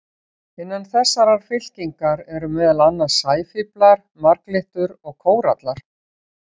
Innan þessarar fylkingar eru meðal annars sæfíflar, marglyttur og kórallar.